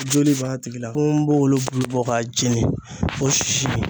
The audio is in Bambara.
Joli b'a tigi la ponbonbogolo bulu bɔ k'a jeni o sisi